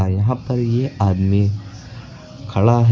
यहां पर ये आदमी खड़ा है।